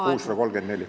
Number 634.